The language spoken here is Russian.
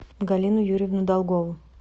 галину юрьевну долгову